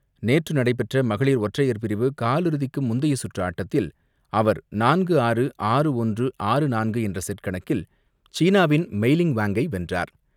நேற்று நடைபெற்ற மகளிர் ஒற்றையர் பிரிவு காலிறுதிக்கு முந்தைய சுற்று ஆட்டத்தில் அவர் நான்கு ஆறு, ஆறுக்கு ஒன்று, ஆறுக்கு நாலு என்ற செட் கணக்கில் சீனாவின் மைலிங் வாங்கை வென்றார்.